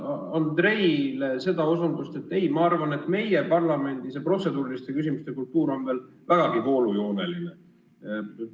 Andrei osutuse peale ma arvan, et meie parlamendis see protseduuriliste küsimuste kultuur on veel vägagi voolujooneline.